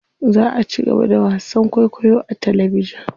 Za a cigaba da wasan kwaikwayo a talabijin.